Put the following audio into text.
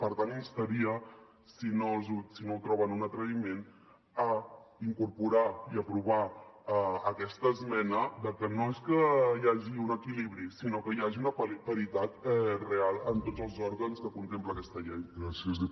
per tant instaria si no ho troben un atreviment a incorporar i aprovar aquesta esmena de que no és que hi hagi un equilibri sinó que hi hagi una paritat real en tots els òrgans que contempla aquesta llei